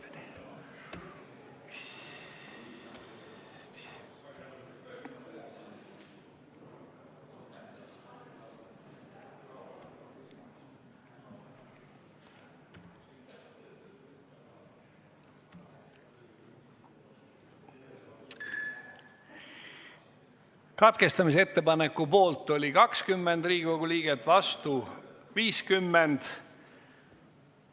Hääletustulemused Katkestamisettepaneku poolt oli 20 Riigikogu liiget, vastu oli 50.